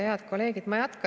Head kolleegid!